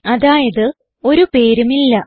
അതായത് ഒരു പേരും ഇല്ല